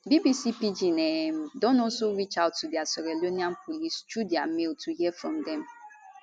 bbc pidgin um don also reach out to di sierra leonean police through dia mail to hear from dem